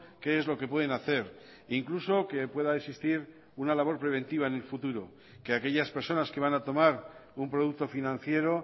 qué es lo que pueden hacer incluso que pueda existir una labor preventiva en el futuro que aquellas personas que van a tomar un producto financiero